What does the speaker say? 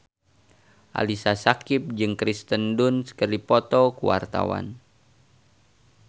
Ali Syakieb jeung Kirsten Dunst keur dipoto ku wartawan